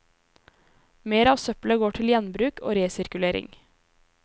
Mer av søppelet går til gjenbruk og resirkulering.